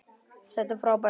Þetta er frábær bók.